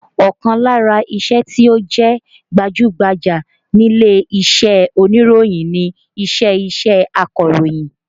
Ọkàn lára iṣẹ́ tí ó jẹ́ gbajú-gbajà nílé iṣẹ́ oníròyìn ni iṣẹ́ iṣẹ́ akọ̀rọ̀yìn